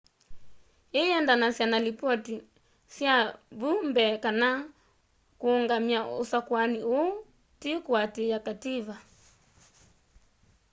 ii ĩyendanasya na lipotĩ sya vu mbee kana kũngamya usakũani uu tĩ kuatĩia kativa